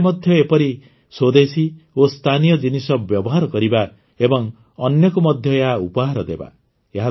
ଆମେ ନିଜେ ମଧ୍ୟ ଏପରି ସ୍ୱଦେଶୀ ଓ ସ୍ଥାନୀୟ ଜିନିଷ ବ୍ୟବହାର କରିବା ଏବଂ ଅନ୍ୟକୁ ମଧ୍ୟ ଏହା ଉପହାର ଦେବା